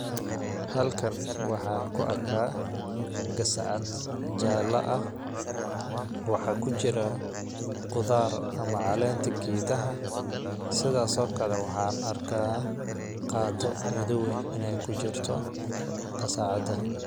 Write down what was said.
Halkan waxaan ku arkaa gasacad jaala ah ,waxaaa ku jiraa qudaar ama caleenta geedaha .Sidaas oo kale waxa aan arkaa qaado madoow eh ineey ku jirto gasacada.